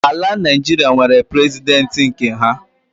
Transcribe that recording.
Ala Naịjiria nwere President nke ha